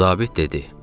Zabit dedi: